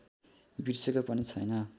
बिर्सेको पनि छैन